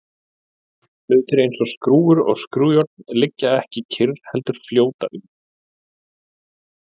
hlutir eins og skrúfur og skrúfjárn liggja ekki kyrr heldur fljóta um